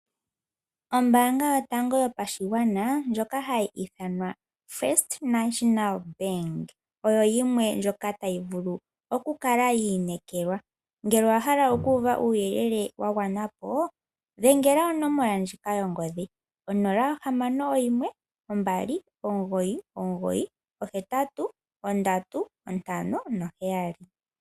Ombaanga yotango yopashigwana ndjoka hayi ithanwa First Nationa Bank oyo yimwe ndjoka tayi vulu okukala yi inekelwa. Ngele owa hala oku uva uuyelele auhe wa gwana po dhengela onomola ndjika yongodhi 061 2998357.